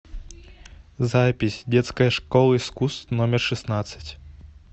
запись детская школа искусств номер шестнадцать